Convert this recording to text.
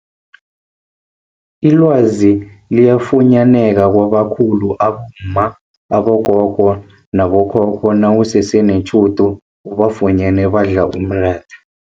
Ilwazi liyafunyaneka kwabakhulu abomma, abogogo nabo khokho nawusese netjhudu ubafunyene badla umratha.